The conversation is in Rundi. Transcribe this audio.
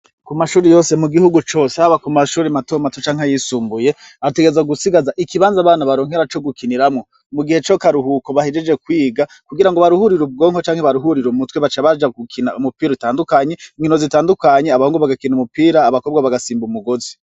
Kumashuri yose mu gihugu cose haba ku mashuri mato mato canke yisumbuye arategerezwa gusigaza ikibanza abana baronkera co gukiniramwo mu gihe cakaruhuko bahejeje kwiga kugira ngo baruhurira ubwonko canke baruhurira umutwe baca baja gukina umupira utandukanye inkino zitandukanye abahungu bagakina umupira abakobwa bagasimba umugozi.